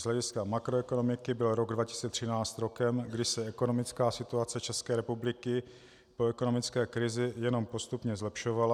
Z hlediska makroekonomiky byl rok 2013 rokem, kdy se ekonomická situace České republiky po ekonomické krizi jenom postupně zlepšovala.